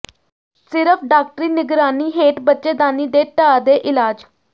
ਸਿਰਫ਼ ਡਾਕਟਰੀ ਨਿਗਰਾਨੀ ਹੇਠ ਬੱਚੇਦਾਨੀ ਦੇ ਢਾਹ ਦੇ ਇਲਾਜ